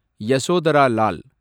Yashodhara Lal